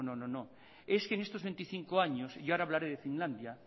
no no es que en estos veinticinco años y ahora hablaré de finlandia